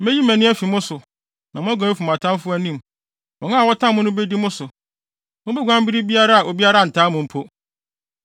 Meyi mʼani afi mo so, na moaguan afi mo atamfo anim. Wɔn a wɔtan mo no bedi mo so. Mubeguan bere a obiara ntaa mo mpo.